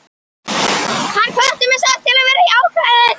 Hann hvatti mig samt til að vera jákvæður.